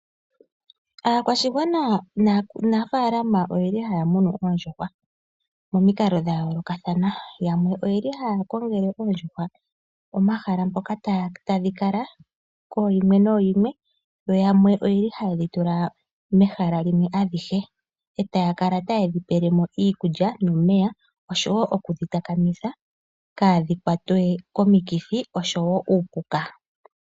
Aakwashigwana nanafaalama oye li haya munu oondjuhwa momikalo dha yoolokathana. Yamwe oye li haya kongele oondjuhwa omahala mpoka tadhi kala kooyimwe nooyimwe. Yamwe oye li haye dhi tula mehala limwe adhihe, eta ya kala taye dhi pele mo iikulya nomeya osho wo okudhi takamitha ka dhi kwatwe komikithi osho wo kuupuka.